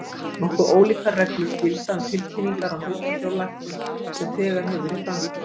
Nokkuð ólíkar reglur gilda um tilkynningar á hlutafjárlækkun sem þegar hefur verið framkvæmd.